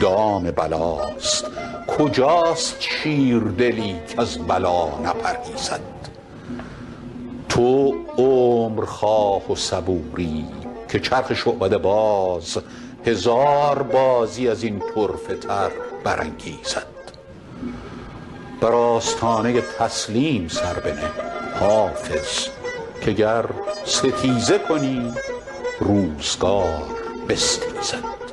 دام بلاست کجاست شیردلی کز بلا نپرهیزد تو عمر خواه و صبوری که چرخ شعبده باز هزار بازی از این طرفه تر برانگیزد بر آستانه تسلیم سر بنه حافظ که گر ستیزه کنی روزگار بستیزد